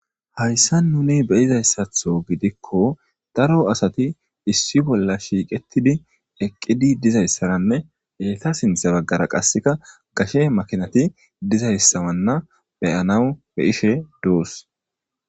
Hayssa nuni beyizayssatho gidikko daro asati issi bolla shiiqettidi eqqidi dizayssaranne eeta sintha baggara qasseka gashe makinati dizayssawanna beyanaw be ishe duus